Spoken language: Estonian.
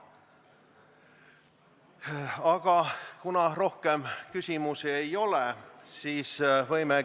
Aga kuna rohkem küsimusi ei ole, siis võimegi ...